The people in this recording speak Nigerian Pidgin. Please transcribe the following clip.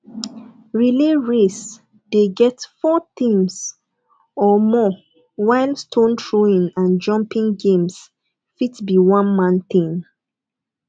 relay race de get four teams or more while stone throwing and jumping games fit be one man thing